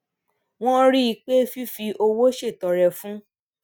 wón rí i pé fífi owó ṣètọrẹ fún